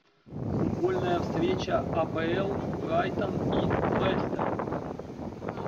футбольная встреча апл брайтон и лестер